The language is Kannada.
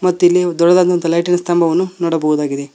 ಮತ್ತು ಇಲ್ಲಿ ದೊಡ್ಡದಾದಂತಹ ಲೈಟಿನ ಸ್ತಂಭವನ್ನು ನೋಡಬಹುದಾಗಿದೆ.